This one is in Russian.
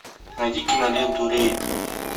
найди киноленту рейд